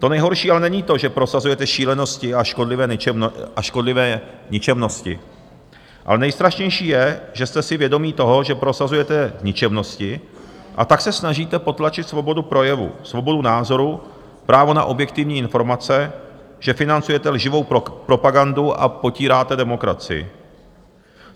To nejhorší ale není to, že prosazujete šílenosti a škodlivé ničemnosti, ale nejstrašnější je, že jste si vědomi toho, že prosazujete ničemnosti, a tak se snažíte potlačit svobodu projevu, svobodu názoru, právo na objektivní informace, že financujete lživou propagandu a potíráte demokracii.